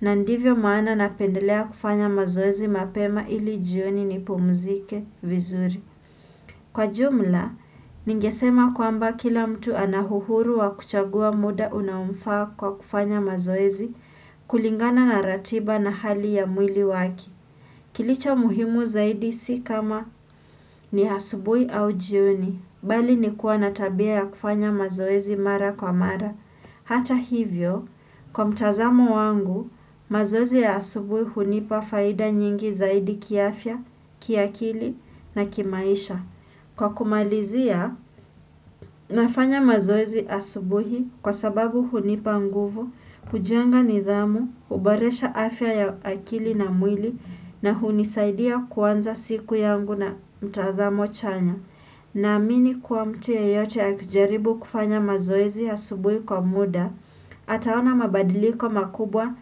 na ndivyo maana napendelea kufanya mazoezi mapema ili jioni nipumzike vizuri. Kwa jumla, ningesema kwamba kila mtu ana uhuru wa kuchagua muda unaomfaa kwa kufanya mazoezi kulingana na ratiba na hali ya mwili wake. Kilicho muhimu zaidi si kama ni asubuhi au jioni, bali ni kuwa na tabia ya kufanya mazoezi mara kwa mara. Hata hivyo, kwa mtazamo wangu, mazoezi ya asubuhi hunipa faida nyingi zaidi kiafya, kiakili na kimaisha. Kwa kumalizia, nafanya mazoezi asubuhi kwa sababu hunipa nguvu, hujenga nidhamu, huboresha afya ya akili na mwili na hunisaidia kuanza siku yangu na mtazamo chanya. Naamini kuwa mtu yeyote akijaribu kufanya mazoezi asubuhi kwa muda, ataona mabadiliko makubwa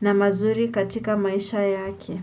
na mazuri katika maisha yake.